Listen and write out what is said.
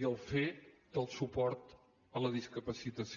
i el fer del suport a la discapacitació